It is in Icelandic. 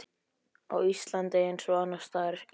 Á Íslandi, eins og annars staðar í